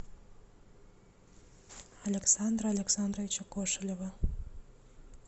александра александровича кошелева